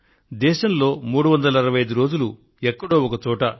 భారతదేశంలో 365 రోజులు ఎక్కడో ఒక చోట